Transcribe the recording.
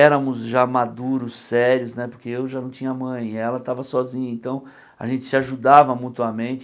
Éramos já maduros, sérios né, porque eu já não tinha mãe e ela estava sozinha, então a gente se ajudava mutuamente.